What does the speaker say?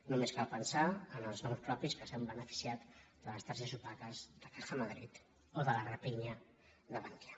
només cal pensar en els noms propis que s’han beneficiat de les targetes opaques de caja madrid o de la rapinya de bankia